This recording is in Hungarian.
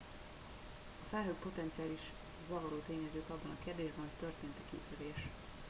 a felhők potenciális zavaró tényezők abban a kérdésben hogy történt e kitörés